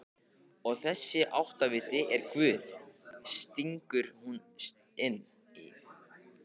Og þessi áttaviti er Guð, stingur hún inn í.